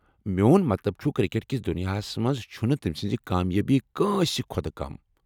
میون مطلب چُھ، کرکٹ کس دنیاہس منٛز چھنہٕ تمہِ سنزٕ کامیٲبی كٲنٛسہِ كھوتہٕ كم ۔